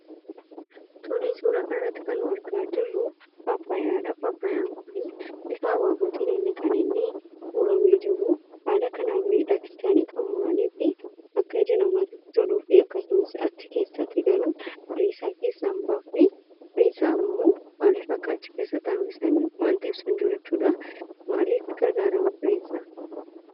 Tole suura kana irratti kan argaa jirru pappayaadha. Pappayaan kun bifa habaabootiin kan inni muramee jiru. Haala kanaan miidhagsanii kan muraniif akka ija namatti toluufi. Achi keessatti garuu firee isaa keessaa hin baasne firee isammoo maalif achi keessatti akka hambisan wanti ibsu hin jiru jechuudha. Maalif gargaara fireen isaa?